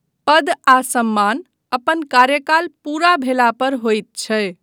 पद आ सम्मान अपन कार्यकाल पूरा भेला पर होइत छै।